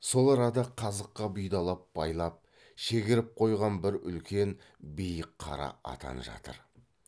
сол арада қазыққа бұйдалап байлап шегеріп қойған бір үлкен биік қара атан жатыр